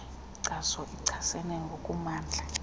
nkeazo iehasene ngokumandla